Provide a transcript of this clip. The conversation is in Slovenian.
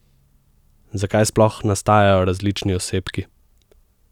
Zakaj sploh nastajajo različni osebki?